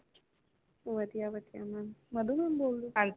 ਹਾਂਜੀ ma'am Madhu ma'am ਤੁਸੀਂ ਕੇਡੇ school ਤੋਹ ਬੋਲ ਰਹੇ।